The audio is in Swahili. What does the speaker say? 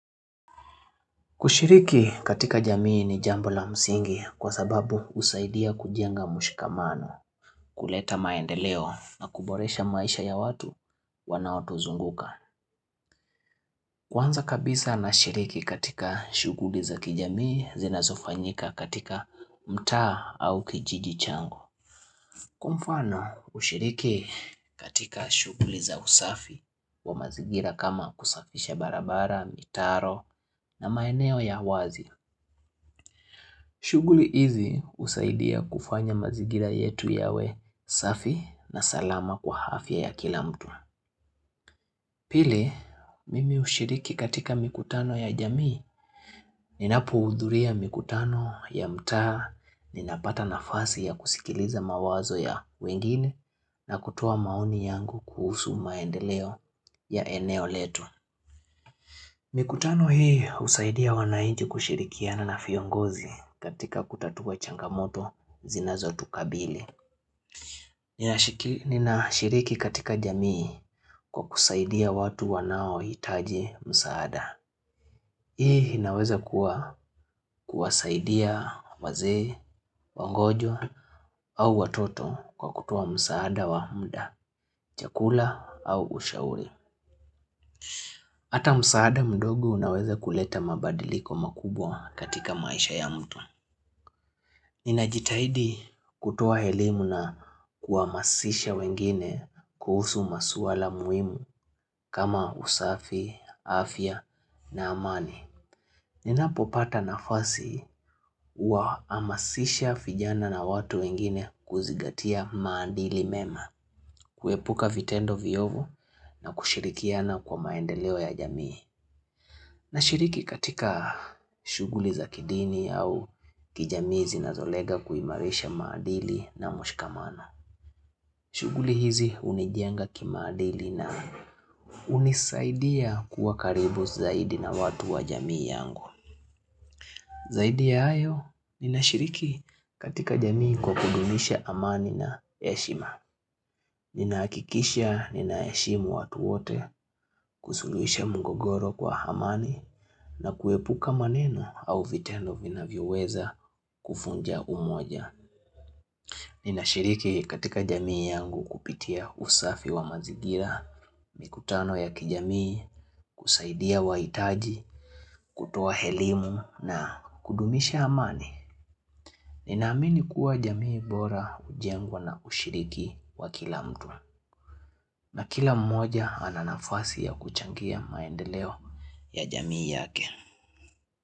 Kushiriki katika jamii ni jambo la msingi kwa sababu usaidia kujenga mshikamano, kuleta maendeleo na kuboresha maisha ya watu wanaotu zunguka. Kwanza kabisa na shiriki katika shuguli za kijamii zina zofanyika katika mtaa au kijiji changu. Kwa mfano ushiriki katika shuguli za usafi wa mazigira kama kusafisha barabara, mitaro na maeneo ya wazi. Shuguli hizi usaidia kufanya mazigira yetu yawe safi na salama kwa hafya ya kila mtu. Pili, mimi ushiriki katika mikutano ya jamii. Ninapo udhuria mikutano ya mtaa, ninapata nafasi ya kusikiliza mawazo ya wengine na kutoa maoni yangu kuhusu maendeleo ya eneo letu. Mikutano hii usaidia wanainchi kushirikiana na fiongozi katika kutatua changamoto zinazo tukabili. Nina shiriki katika jamii kwa kusaidia watu wanao hitaji msaada. Hii inaweza kuwa kuwasaidia wazee, wangojo au watoto kwa kutoa msaada wa mda, chakula au ushauri. Hata msaada mdogo unaweza kuleta mabadiliko makubwa katika maisha ya mtu. Nina jitahidi kutoa elimu na kuamasisha wengine kuhusu masuala muhimu kama usafi, afya na amani. Nina popata nafasi wa amasisha fijana na watu wengine kuzigatia maandili mema, kuepuka vitendo viovu na kushirikiana kwa maendeleo ya jamii. Nashiriki katika shuguli za kidini au kijamii kuimarisha madili na mshikamano. Shuguli hizi unijenga kimaadili na unisaidia kuwa karibu zaidi na watu wa jamii yangu. Zaidi ya hayo, nina shiriki katika jamii kwa kudunisha amani na heshima. Ninaakikisha ninaeshimu watuwote kusuluisha mungogoro kwa hamani na kuepuka maneno au vitendo vinavyo weza kufunja umoja. Nina shiriki katika jamii yangu kupitia usafi wa mazigira, mikutano ya kijamii, kusaidia wa itaji, kutoa helimu na kudumisha hamani. Ninaamini kuwa jamii bora ujengwa na ushiriki wa kila mtu. Na kila mmoja ananafasi ya kuchangia maendeleo ya jamii yake.